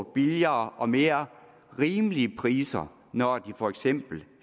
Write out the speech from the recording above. billigere og mere rimelige priser når de for eksempel